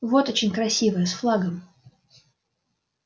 вот очень красивая с флагом